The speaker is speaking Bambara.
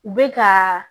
U bɛ ka